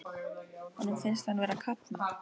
Honum fannst hann vera að kafna.